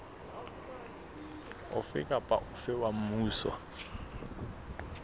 ofe kapa ofe wa mmuso